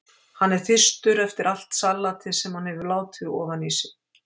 Hann er þyrstur eftir allt salatið sem hann hefur látið ofan í sig.